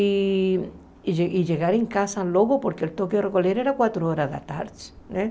e chegar em casa logo, porque o toque a recolher era quatro horas da tarde né.